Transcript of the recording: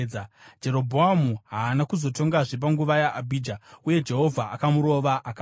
Jerobhoamu haana kuzotongazve panguva yaAbhija. Uye Jehovha akamurova akafa.